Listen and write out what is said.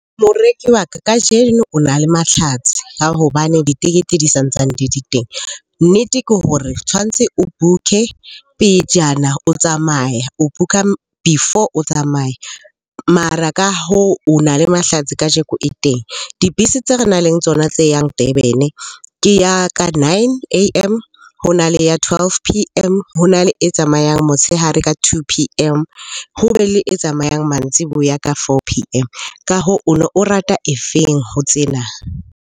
Moreki wa ka, kajeno o na le matlhatsi a hobane ditekete di santsane di le teng. Nnete ke hore tshwantse o book-e pejana o tsamaya, o book-a before o tsamaya. Mara ka hoo, o na le matlhatsi kajeko e teng. Dibese tse re nang le tsona tse yang Durban-e ke ya ka nine A_M, ho na le ya twelve A_M, hona le e tsamayang motshehare ka two P_M, ho be le e tsamayang mantsiboya ka four P_M. Ka hoo, o no o rata e feng ho tsena?